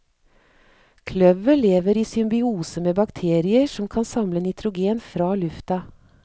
Kløver lever i symbiose med bakterier som kan samle nitrogen fra lufta.